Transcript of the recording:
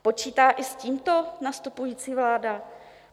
Počítá i s tímto nastupující vláda?